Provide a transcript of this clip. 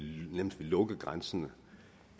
lukke grænsen at